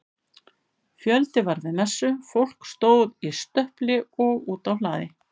Fjöldi var við messu, fólk stóð í stöpli og úti á hlaði.